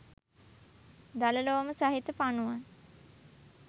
දල ලෝම සහිත පනුවන්